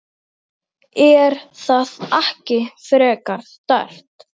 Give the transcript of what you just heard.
Átjánda mínúta.